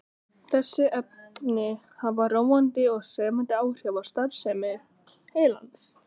Þessi efni hafa róandi og sefandi áhrif á starfsemi heilans.